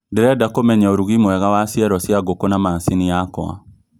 Ndĩreda kũmenya ũrugî mwega wa cĩero cîa ngũkũ na macĩnĩ yakwa